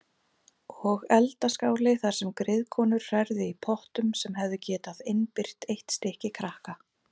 Og eldaskáli þar sem griðkonur hrærðu í pottum sem hefðu getað innbyrt eitt stykki krakka.